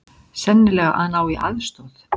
Sennilega að ná í aðstoð.